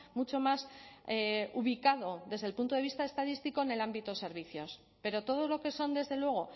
mucho más ubicado desde el punto de vista estadístico en el ámbito de servicios pero todo lo que son desde luego